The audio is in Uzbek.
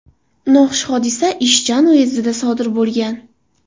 Noxush hodisa Ichjan uyezdida sodir bo‘lgan.